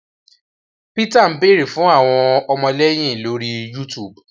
Peter ń beere fún àwọn ọmọléyìn lórí YouTube